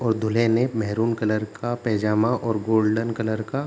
और दूल्हे ने मैरून कलर का पजामा और गोल्डन कलर का --